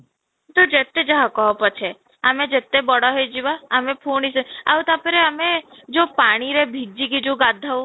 ତୁ ଯେତେ ଯାହା କହ ପଛେ ଆମେ ଯେତେ ବଡ ହେଇଯିବା ଆମେ ପୁଣି ସେଇ ଆଉ ତା'ପରେ ଆମେ ଯୋଉ ପାଣିରେ ଭିଜି କି ଯୋଉ ଗାଧାଉ